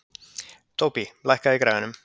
Tóbý, lækkaðu í græjunum.